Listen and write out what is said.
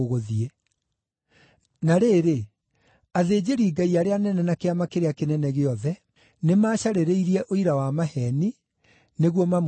Na rĩrĩ, athĩnjĩri-Ngai arĩa anene na Kĩama kĩrĩa Kĩnene gĩothe nĩmacarĩrĩirie ũira wa maheeni nĩguo mamũũragithie.